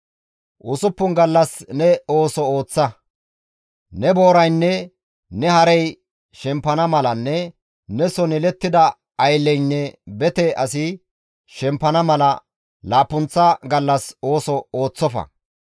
«Usuppun gallas ne ooso ooththa; ne booraynne ne harey shempana malanne neson yelettida aylleynne bete asi, shempana mala, laappunththa gallas ooso ooththofa.